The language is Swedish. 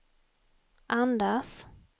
andas